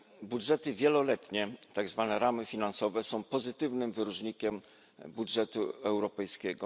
Budżety wieloletnie, tak zwane ramy finansowe, są pozytywnym wyróżnikiem budżetu europejskiego.